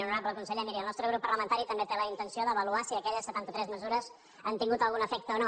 honorable conseller miri el nostre grup parlamentari també té la intenció d’avaluar si aquelles setanta tres mesures han tingut algun efecte o no